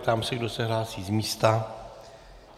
Ptám se, kdo se hlásí z místa.